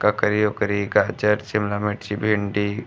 ककरी ओकरी गाजर शिमला मिर्च भिंडी --